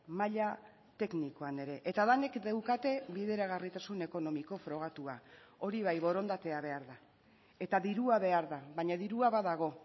maila teknikoan ere eta denek daukate bideragarritasun ekonomiko frogatua hori bai borondatea behar da eta dirua behar da baina dirua badago